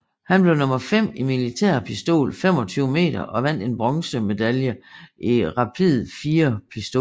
Han blev nummer fem i militær pistol 25 meter og vandt en bronzemedalje i rapid fire pistol